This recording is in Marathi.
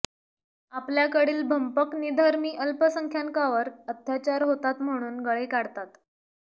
आपल्याकडील भंपक निधर्मी अल्पसंख्याकांवर अत्याचार होतात म्हणून गळे काढतात